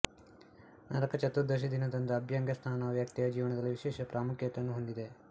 ನರಕ ಚತುರ್ದಶಿ ದಿನದಂದು ಅಭ್ಯಂಗ ಸ್ನಾನವು ವ್ಯಕ್ತಿಯ ಜೀವನದಲ್ಲಿ ವಿಶೇಷ ಪ್ರಾಮುಖ್ಯತೆಯನ್ನು ಹೊಂದಿದೆ